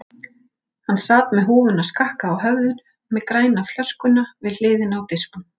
Hann sat með húfuna skakka á höfðinu með grænu flöskuna við hliðina á disknum.